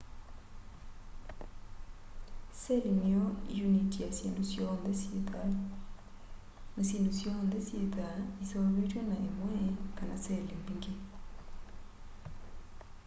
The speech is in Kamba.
seli niyo uniti ya syindu syonthe syi thau na syindu syonthe syithwaa iseuvitw'e ni imwe kana seli mbingi